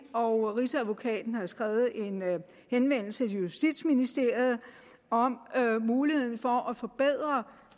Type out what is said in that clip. og rigsadvokaten har skrevet en henvendelse til justitsministeriet om muligheden for at forbedre